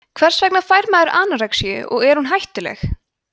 hvers vegna fær maður anorexíu og er hún hættuleg